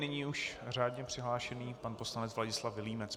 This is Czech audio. Nyní už řádně přihlášený pan poslanec Vladislav Vilímec.